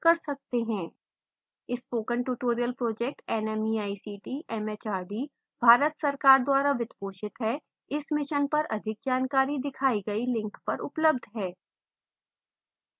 spoken tutorial project nmeict mhrd Bharat सरकार द्वारा वित्त पोषित है इस mission पर अधिक जानकारी दिखाई गई link पर उपलब्ध है